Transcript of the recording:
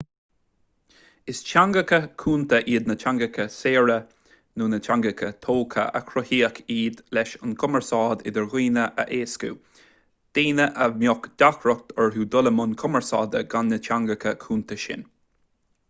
is teangacha cúnta iad teangacha saorga nó teangacha tógtha agus cruthaíodh iad leis an gcumarsáid idir dhaoine a éascú daoine a mbeadh deacracht orthu dul i mbun cumarsáide gan na teangacha cúnta sin